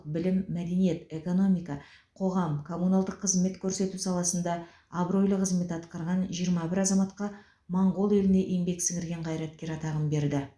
білім мәдениет экономика қоғам коммуналдық қызмет көрсету саласында абыройлы қызмет атқарған жиырма бір азаматқа моңғол еліне еңбек сіңірген қайраткер атағын берді